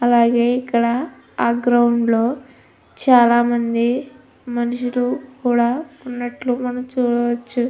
అలాగే ఇక్కడ ఆ గ్రౌండ్ లో చాల మంది మనుషులు కూడా ఉన్నట్లు మనం చూడవచ్చు.